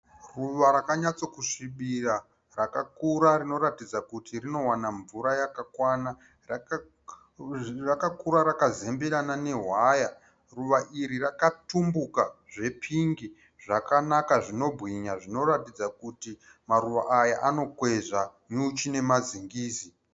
Ruva rakanyatsokusvibira rakakura rinoratidza kuti rinowana mvura yakakwana. Rakakura rakazemberana newaya. Ruva iri rakatumbuka zvepingi zvakanaka zvinobwinya zvinoratidza kuti maruva aya anokwezva nyuchi nemazingizi.